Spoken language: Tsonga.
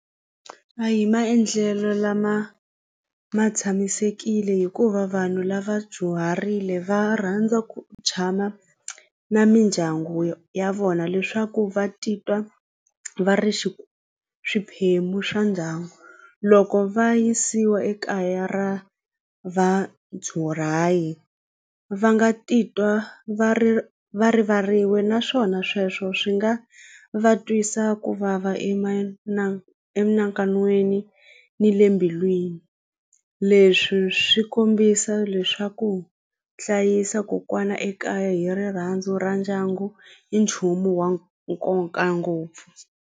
A hi maendlelo lama ma tshamisekile hikuva vanhu lava dyuharile va rhandza ku tshama na mindyangu ya vona leswaku va titwa va ri xi swiphemu swa ndyangu loko va yisiwa ekaya ra va nga titwa va ri va rivariwi naswona sweswo swi nga va twisa ku vava ni le mbilwini leswi swi kombisa leswaku hlayisa kokwana ekaya hi rirhandzu ra ndyangu hi nchumu wa nkoka ngopfu.